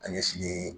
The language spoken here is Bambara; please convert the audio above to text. An ye fini